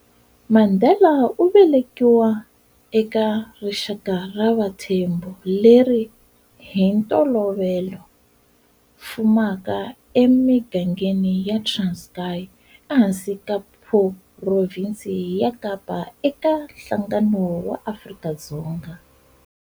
Mandela uvelekiwa eka rixaka ra vaThembu leri, hintolovelo, fumeka e migangeni ya Transkayi e hansi ka Phurovinci ya Kapa e ka nhlangano wa Afrika-Dzonga.